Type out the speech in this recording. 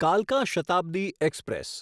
કાલકા Shatabdi express